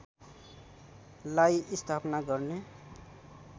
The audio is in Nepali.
लाई स्थापना गर्ने